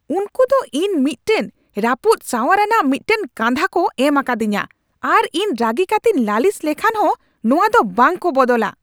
ᱩᱱᱠᱩ ᱫᱚ ᱤᱧ ᱢᱤᱫᱴᱟᱝ ᱨᱟᱹᱯᱩᱫ ᱥᱟᱣᱟᱨ ᱟᱱᱟᱜ ᱢᱤᱫᱴᱟᱝ ᱠᱟᱸᱫᱷᱟ ᱠᱚ ᱮᱢ ᱟᱠᱟᱫᱤᱧᱟ ᱟᱨ ᱤᱧ ᱨᱟᱹᱜᱤ ᱠᱟᱹᱛᱮᱧ ᱞᱟᱹᱞᱤᱥ ᱞᱮᱠᱷᱟᱱ ᱦᱚᱸ ᱱᱚᱶᱟ ᱫᱚ ᱵᱟᱝᱠᱚ ᱵᱚᱫᱚᱞᱟ ᱾